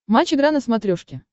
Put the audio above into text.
матч игра на смотрешке